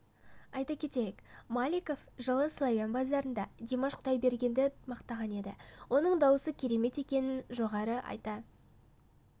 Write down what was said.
айта кетейік маликов жылы славян базарында димаш құдайбергенді мақтаған еді оның даусы керемет екенін жоғары айта